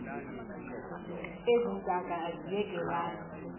ezi ntaka aziyekelani